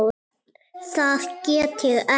Ég get það ekki